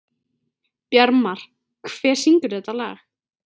Bjarmar, hver syngur þetta lag?